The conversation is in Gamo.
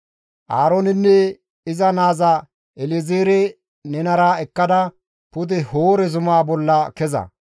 Aaroonenne iza naaza El7ezeere nenara ekkada pude Hoore zumaa bolla keza.